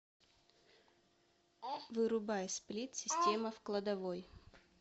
вырубай сплит система в кладовой